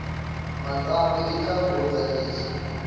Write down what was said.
matsambu i ntlangu wo tsakisa